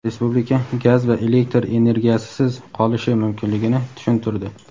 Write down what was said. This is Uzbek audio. respublika gaz va elektr energiyasisiz qolishi mumkinligini tushuntirdi.